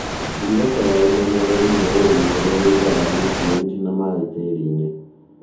Girigaca ya ũmenyereri ni ũrĩmĩ ũrĩa wĩigaga niutirienti na maĩ tĩrinĩ.